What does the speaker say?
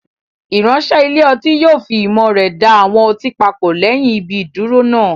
Ìránṣẹ́ ilé ọtí yóò fi ìmọ̀ rẹ̀ da àwọn ọtí papọ̀ lẹ́yìn ibi ìdúró náà.